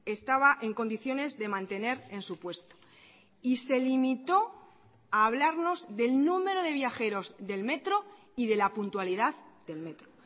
estaba en condiciones de mantener en su puesto y se limitó a hablarnos del número de viajeros del metro y de la puntualidad del metro